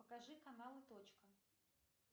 покажи каналы точка